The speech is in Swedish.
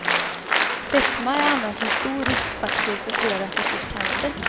Fetma är annars en stor riskfaktor för flera sorters cancer.